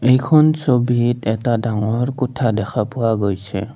এইখন ছবিত এটা ডাঙৰ কোঠা দেখা পোৱা গৈছে।